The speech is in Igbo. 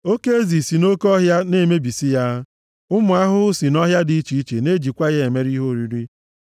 Oke ezi si nʼoke ọhịa na-emebisi ya, ụmụ ahụhụ si nʼọhịa dị iche iche na-ejikwa ya emere ihe oriri.